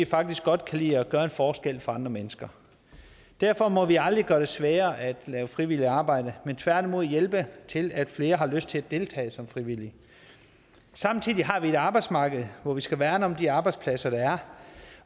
faktisk godt kan lide at gøre en forskel for andre mennesker derfor må vi aldrig gøre det sværere at lave frivilligt arbejde men tværtimod hjælpe til at flere har lyst til at deltage som frivillige samtidig har vi et arbejdsmarked hvor vi skal værne om de arbejdspladser der er